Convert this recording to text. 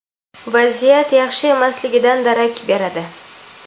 vaziyat yaxshi emasligidan darak beradi.